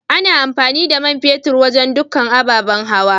Ana amfani da man fetur wajen tukka ababan hawa.